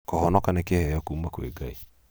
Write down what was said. kũhonoka nĩ kĩheeo kuuma kwĩ ngai